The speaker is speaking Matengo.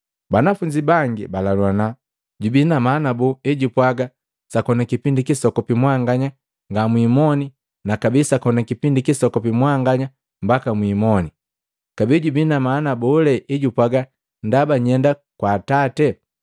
Banafunzi bangi balaluana, “Jubii na maana boo ejupwaaga, ‘Sakoni kipindi kisokopi mwanganya ngamwimoni na kabee sakoni kipindi kisokopi mwanganya mbaka mwiimoni?’ Kabee jubii na maana bole ejupwaaga, ‘Ndaba nyenda kwa Atate!’